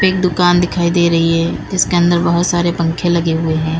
एक दुकान दिखाई दे रही है जिसके अंदर बहोत सारे पंखे लगे हुए हैं।